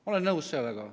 Ma olen nõus sellega.